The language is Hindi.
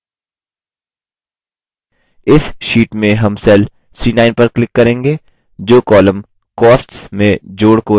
इस sheet में हम cell c9 पर click करेंगे जो column costs में जोड़ को रखता है